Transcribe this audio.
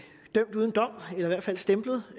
hvert fald stemplet